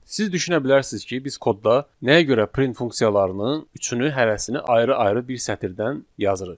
Siz düşünə bilərsiniz ki, biz kodda nəyə görə print funksiyalarının üçünü hərəsini ayrı-ayrı bir sətirdən yazırıq?